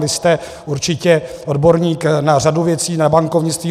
Vy jste určitě odborník na řadu věcí, na bankovnictví.